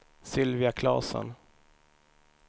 Sylvia Claesson